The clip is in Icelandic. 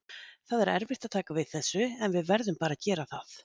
Það er erfitt að taka þessu, en við verðum bara að gera það.